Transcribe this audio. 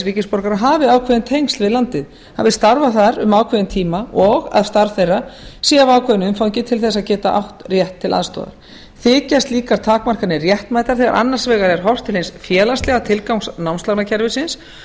ríkisborgarar hafi ákveðin tengsl við landið hafi starfað þar um ákveðinn tíma og að starf þeirra sé af ákveðnu umfangi til þess að geta átt rétt til aðstoðar þykja slíkar takmarkanir réttmætar þegar annars vegar er horft til hins félagslega tilgangs námslánakerfisins